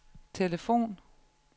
telefon